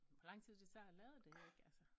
Hvor lang tid det tager at lade det ik altså